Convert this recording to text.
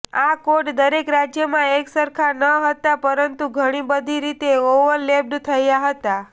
આ કોડ દરેક રાજ્યમાં એકસરખા ન હતા પરંતુ ઘણી બધી રીતે ઓવરલેપ્ડ થયા હતા